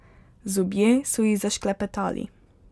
Zobje so ji zašklepetali.